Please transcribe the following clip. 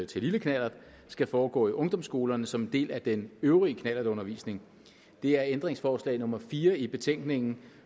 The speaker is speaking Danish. til lille knallert skal foregå i ungdomsskolerne som en del af den øvrige knallertundervisning det er ændringsforslag nummer fire i betænkningen